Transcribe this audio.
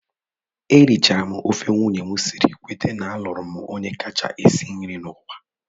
E richara m ofe nwunye m siri, kwete na a lụrụ m onye kacha esi nri n'ụwa.